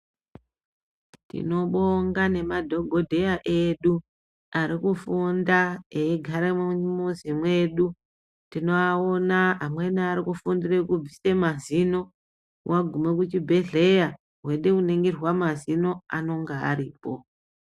Tinobonga nemadhokodheya edu arikufunda eigara mumizi medu tinoaona amweni arikufundure kubvise mazino wagume kuchibhedhlera wechida kuningirwa mazino vanonga varipo .